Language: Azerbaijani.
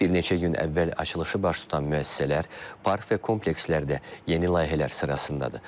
Bir neçə gün əvvəl açılışı baş tutan müəssisələr, park və komplekslər də yeni layihələr sırasındadır.